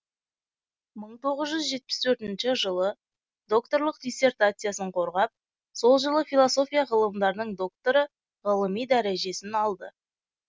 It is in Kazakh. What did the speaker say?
мың тоғыз жүз жетпіс төртінші жылы докторлық диссертациясын қорғап сол жылы философия ғылымдарының докторы ғылыми дәрежесін алды